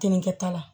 Tinikɛta la